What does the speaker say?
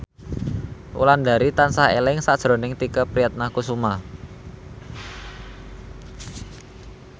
Wulandari tansah eling sakjroning Tike Priatnakusuma